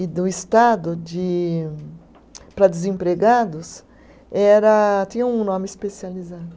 e do Estado de para desempregados, era tinha um nome especializado.